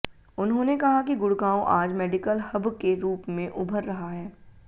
उन्होंने कहा कि गुडग़ांव आज मेडिकल हब के रूप में उभर रहा है